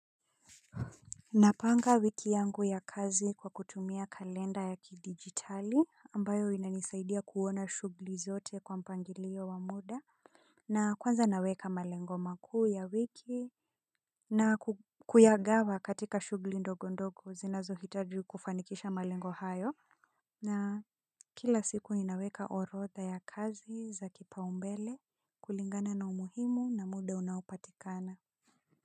Napanga wiki yangu ya kazi kwa kutumia kalenda ya kidigitali ambayo inanisaidia kuona shugli zote kwa mpangilio wa muda. Na kwanza naweka malengo makuu ya wiki na kuyagawa katika shugli ndogo ndogo zinazohitaji kufanikisha malengo hayo. Na kila siku ninaweka orodha ya kazi za kipaumbele kulingana na umuhimu na muda unaopatikana.